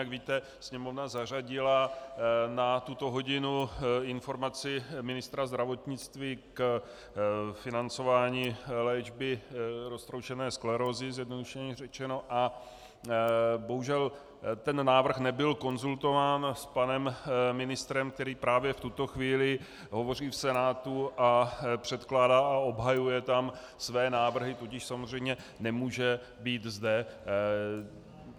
Jak víte, Sněmovna zařadila na tuto hodinu informaci ministra zdravotnictví k financování léčby roztroušené sklerózy, zjednodušeně řečeno, a bohužel ten návrh nebyl konzultován s panem ministrem, který právě v tuto chvíli hovoří v Senátu a předkládá a obhajuje tam své návrhy, tudíž samozřejmě nemůže být zde.